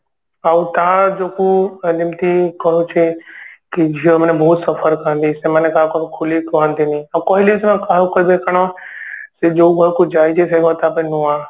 ଆଉ ଟା ଯୋଗୁ ମାନେ ଏମତି କରଉଛି କି ଝିଅ ମାନେ ବହୁତ suffer କରନ୍ତି ସେମାନେ କାହାକୁ ଖୋଲିକି କହନ୍ତିନି ଆଉ କହିଲେ ବି ସେମାନେ କାହାକୁ କହିବେ କାରଣ ସେ ଯୋଉ ଘରକୁ ଯାଇଛି ସେ ଘର ଟା ପାଇଁ ନୂଆ